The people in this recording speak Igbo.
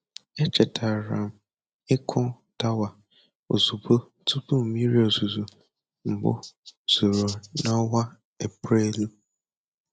Echetara m ịkụ dawa ozugbo tupu mmiri ozuzo mbụ zoro n'ọnwa Eprelu.